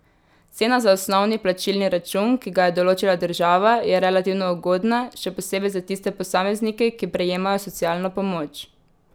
Cena za osnovni plačilni račun, ki ga je določila država, je relativno ugodna, še posebej za tiste posameznike, ki prejemajo socialno pomoč.